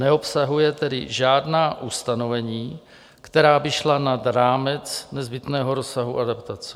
Neobsahuje tedy žádná ustanovení, která by šla nad rámec nezbytného rozsahu adaptace.